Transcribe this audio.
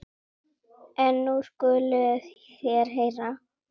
En nú skuluð þér heyra.